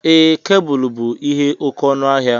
Ee, kebụl bú ihe oke ọnụ ahia